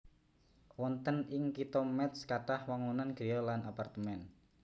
Wonten ing Kitha Métz kathah wangunan griya lan apartemén